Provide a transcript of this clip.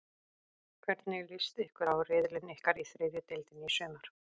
Hvernig list ykkur á riðilinn ykkar í þriðju deildinni í sumar?